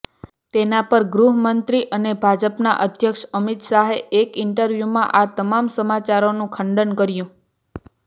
તેના પર ગૃહમંત્રી અને ભાજપના અધ્યક્ષ અમિત શાહે એક ઇન્ટરવ્યુમાં આ તમામ સમાચારોનું ખંડન કર્યું